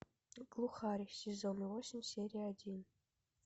глухарь сезон восемь серия один